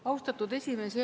Austatud esimees!